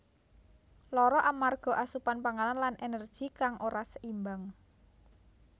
Lara amarga asupan panganan lan energi kang ora seimbang